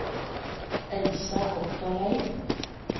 Elsa Otterlei